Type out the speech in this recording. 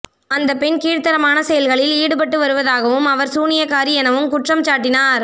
அந்த பெண் கீழ்த்தரமான செயல்களில் ஈடுபட்டு வருவதாகவும் அவர் சூனியக்காரி எனவும் குற்றம்சாட்டினர்